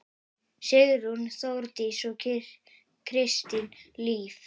Sigrún, Þórdís og Kristín Líf.